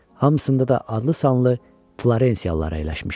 Hamısında da adlı-sanlı Florensiyalılar əyləşmişdi.